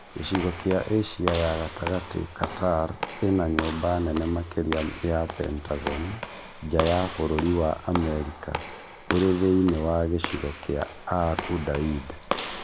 Gĩcigo kia Asia ya gatagatĩ Qatar ĩna nyũmba nene makĩria ya Pentagon nja ya bũrũri wa Amerika ĩrĩ thĩinĩ wa gĩcigo kĩa Al-Udaid